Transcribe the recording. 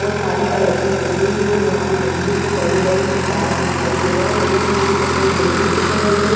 और काली कलर की बिजली के बड़े बड़े तार दिखाई दे रहे है पीछे एक सफेद बिल्डिंग दिख रही है।